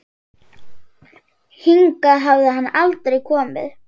Hingað hafi hann aldrei komið.